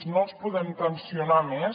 no els podem tensionar més